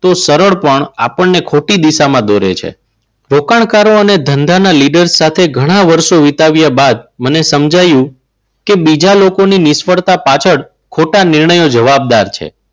તો સરળ પણ આપણને ખોટી દિશામાં દોરવે છે. રોકાણકારો અને ધંધાના leader સાથે ઘણા વર્ષો વિતાવ્યા બાદ મને સમજાવ્યું કે બીજા લોકોની નિષ્ફળતા પાછળ ખોટા નિર્ણયો જવાબદાર છે.